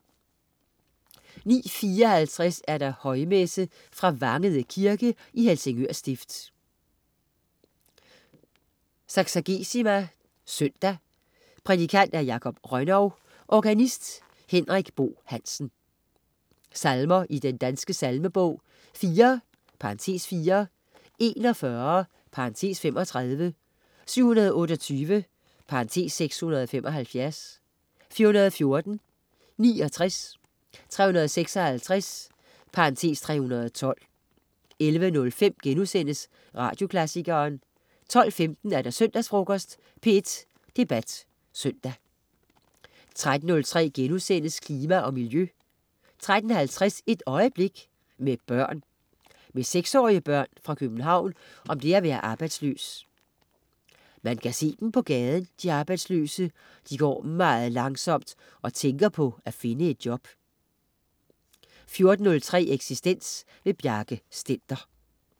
09.54 Højmesse. Fra Vangede kirke (Helsingør stift). Saksagesima søndag. Prædikant: Jakob Rönnov. Organist: Henrik Boe Hansen. Salmer i Den Danske Salmebog: 4 (4). 41 (35). 728 (675). 414. 69. 356 (312) 11.05 Radioklassikeren* 12.15 Søndagsfrokosten. P1 Debat Søndag 13.03 Klima og Miljø* 13.50 Et øjeblik. Med børn. Med seksårige børn fra København om det at være arbejdsløs. "Man kan se dem på gaden, de arbejdsløse, de går meget langsomt og tænker på at finde et job" 14.03 Eksistens. Bjarke Stender